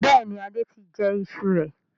Bẹ́ẹ̀ni, Adé tí jẹ ìṣù rẹ̀.